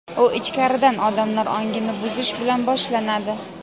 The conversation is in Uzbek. u ichkaridan odamlar ongini buzish bilan boshlanadi.